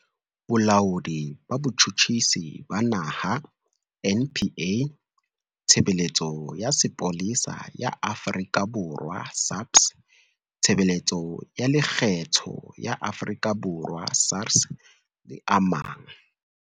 Bolaodi ba Bo-tjhutjhisi ba Naha, NPA, Tshebeletso ya Sepolesa ya Afrika Borwa, SAPS, Tshebeletso ya Lekgetho ya Afrika Borwa, SARS, le a mang.